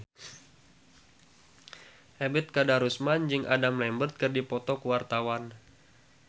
Ebet Kadarusman jeung Adam Lambert keur dipoto ku wartawan